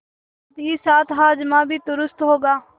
साथहीसाथ हाजमा भी दुरूस्त होगा